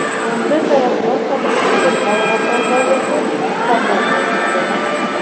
Unda talabgor haqida to‘liq ma’lumotlar bazasi qamrab olinadi.